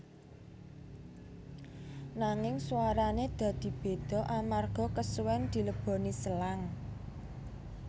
Nanging suarane dadi beda amarga kesuwen dileboni selang